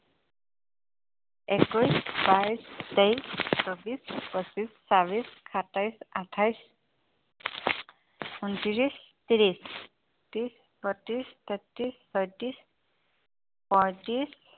একৈশ বাইশ তেইশ চৌবিশ পচিশ ছাবিশ সাতাইশ আঠাইশ উনত্ৰিশ ত্ৰিশ একত্ৰিশ বত্ৰিশ তেত্ৰিশ ছয়ত্ৰিশ পয়ত্ৰিশ